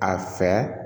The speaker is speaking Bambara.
A fɛ